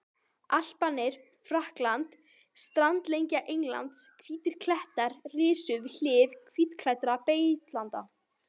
Alparnir, Frakkland, strandlengja Englands, hvítir klettar risu við hlið hvítklæddra beitilanda.